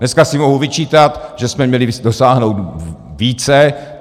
Dneska si mohu vyčítat, že jsme měli dosáhnout více.